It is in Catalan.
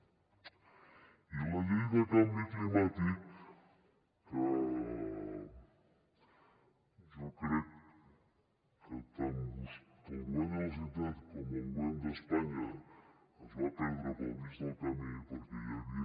i la llei de canvi climàtic que jo crec que tant el govern de la generalitat com el govern d’espanya es van perdre pel mig del camí perquè hi havia